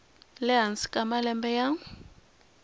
le hansi ka malembe ya